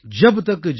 जो केतन के पात